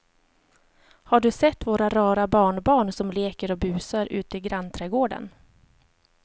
Har du sett våra rara barnbarn som leker och busar ute i grannträdgården!